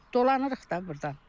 Dolanırıq da burdan.